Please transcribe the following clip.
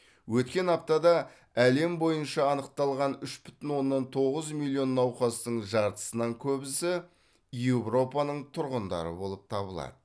өткен аптада әлем бойынша анықталған үш бүтін оннан тоғыз миллион науқастың жартысынан көбісі еуропаның тұрғындары болып табылады